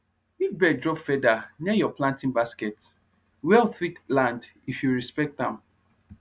if bird drop feather near your planting basket wealth fit land if you respect am